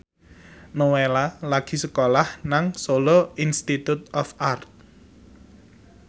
Nowela lagi sekolah nang Solo Institute of Art